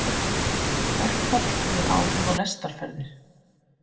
Verkfall hefur áhrif á lestarferðir